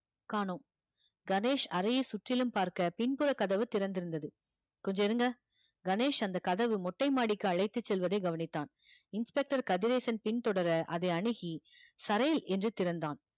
காணோம் கணேஷ் அறையை சுற்றிலும் பார்க்க பின்புற கதவு திறந்திருந்தது கொஞ்சம் இருங்க கணேஷ் அந்த கதவு மொட்டைமாடிக்கு அழைத்துச் செல்வதை கவனித்தான் inspector கதிரேசன் பின் தொடர அதை அணுகி சரேல் என்று திறந்தான்